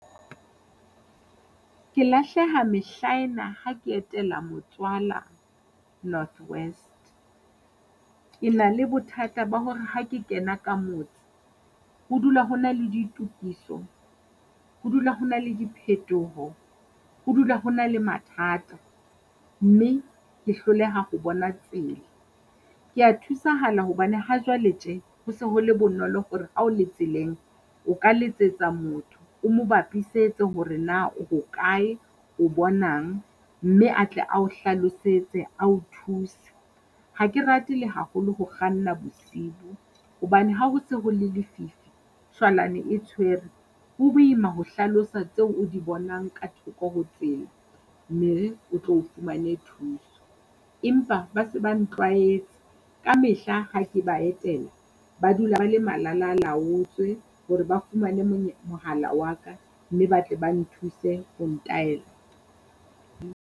Ke lahleha mehla ena ha ke etela motswala North West. Ke na le bothata ba hore ha ke kena ka motse, ho dula ho na le ditokiso, ho dula ho na le diphetoho, ho dula ho na le mathata. Mme ke hloleha ho bona tsela, kea thusahala hobane hajwale tje ho se ho le bonolo hore ha o le tseleng o ka letsetsa motho o mo bapisetse hore na o hokae o bonang, mme a tle ao hlalosetse ao thuse. Ha ke rate le haholo ho kganna bosibu, hobane ha ho se ho le lefifi, shwalane e tshwere. Ho boima ho hlalosa tseo o di bonang ka thoko ho tsela, o tlo o fumane thuso. Empa ba se ba ntlwaetse ka mehla ha ke ba etela, ba dula ba le malalalaotswe hore ba fumane mohala wa ka, mme ba tle ba nthuse ho ntaela.